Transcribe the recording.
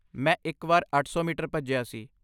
ਮੈਂ ਇੱਕ ਵਾਰ ਅੱਠ ਮੀਟਰ ਭੱਜਿਆ ਸੀ